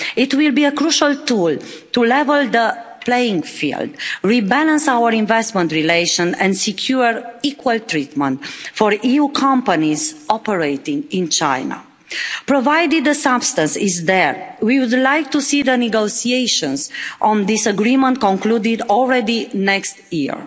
It will be a crucial tool to level the playing field, rebalance our investment relations and secure equal treatment for EU companies operating in China. Provided the substance is there, we would like to see the negotiations on this agreement concluded next year.